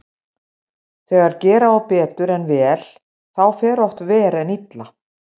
Þegar gera á betur en vel þá fer oft verr en illa.